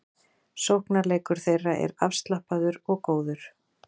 Sóknarleikur þeirra er afslappaður og góður